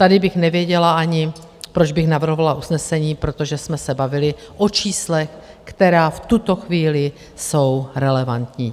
Tady bych nevěděla ani, proč bych navrhovala usnesení, protože jsme se bavili o číslech, která v tuto chvíli jsou relevantní.